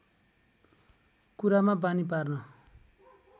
कुरामा बानि पार्न